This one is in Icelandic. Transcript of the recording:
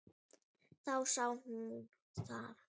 Þá sá hún það.